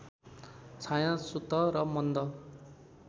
छायासुत र मन्द